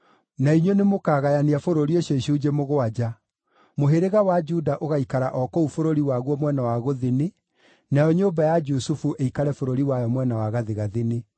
Na inyuĩ nĩmũkagayania bũrũri ũcio icunjĩ mũgwanja. Mũhĩrĩga wa Juda ũgaikara o kũu bũrũri waguo mwena wa gũthini, nayo nyũmba ya Jusufu ĩikare bũrũri wayo mwena wa gathigathini.